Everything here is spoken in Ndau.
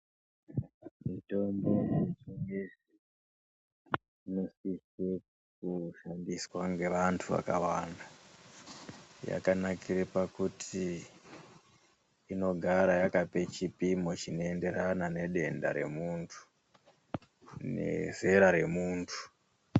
Mitombo yechingezi inosise kushandiswa ngeanhu akawanda yakanakire pakuti inogara yakape chipimo chinoendererana nedenda remuntu nezera remuntu.